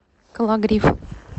кологрив